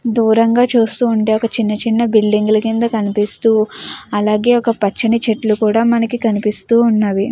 దూరం గ చూస్తూ వుంటే ఒక చిన్న చిన్న లు కనిపిస్తూ అలాగే కొని పచ్చని చేతుల్లు కూడా మనకి కనిపిస్తూ వున్నవి.